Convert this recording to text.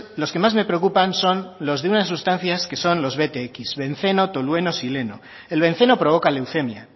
los que más me preocupan son los de unas sustancias que son los btx benceno tolueno xileno el benceno provoca leucemia